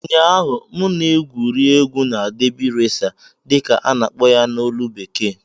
Ụnyaahụ, m na-egwuri egwu na "derby racer" dị ka a na-akpọ ya na ólú bekee